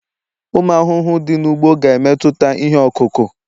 ụmụ ahụhụ dị n'ugbo, ga-emetụta ihe ọkụkụ